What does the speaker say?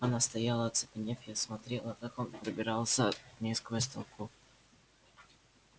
она стояла оцепенев и смотрела как он пробирался к ней сквозь толпу